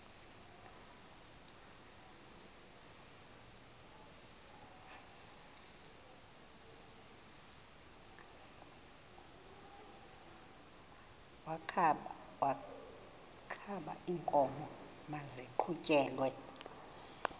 wokaba iinkomo maziqhutyelwe